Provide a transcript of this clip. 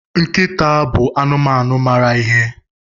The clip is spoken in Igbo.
Nkịta bụ anụmanụ mara ihe.